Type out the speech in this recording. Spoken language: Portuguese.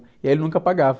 E aí ele nunca pagava.